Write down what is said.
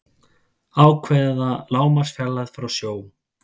ákveða lágmarksfjarlægð frá sjó